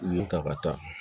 U ye n ta ka taa